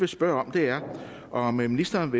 spørge om er om ministeren